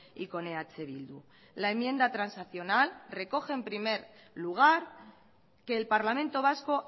y con eh bildu la enmienda transaccional recoge en primer lugar que el parlamento vasco